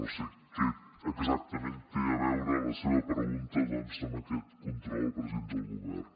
no sé què exactament té a veure la seva pregunta doncs amb aquest control al president del govern